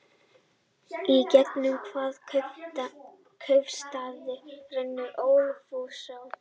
Í gegnum hvaða kaupstað rennur Ölfusá?